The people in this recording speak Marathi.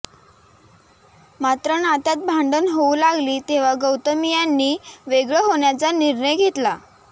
मात्र नात्यात भांडणं होऊ लागली तेव्हा गौतमी यांनी वेगळं होण्याचा निर्णय घेतला